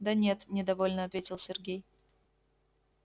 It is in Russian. да нет недовольно ответил сергей